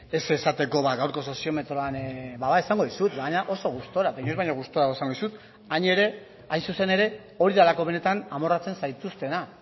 ez esateko ba gaurko soziometroan bada esango dizut baina oso gustora inoiz baino gustaroago esango dizut hain zuzen ere hori delako benetan amorratzen zaituztena